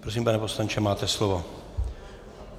Prosím, pane poslanče, máte slovo.